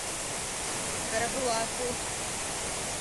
карабулаку